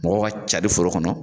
Mɔgɔw ka cari foro kɔnɔ.